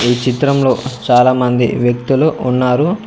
ఈ చిత్రం లో చాలా మంది వ్యక్తులు ఉన్నారు.